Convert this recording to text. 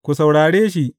Ku saurare shi!